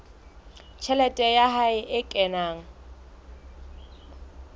tjhelete ya hae e kenang